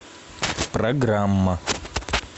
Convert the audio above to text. программа